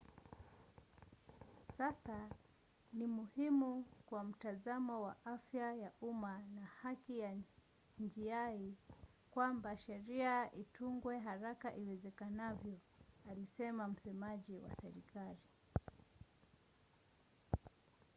"sasa ni muhimu kwa mtazamo wa afya ya umma na haki ya jinai kwamba sheria itungwe haraka iwezekanavyo alisema msemaji wa serikali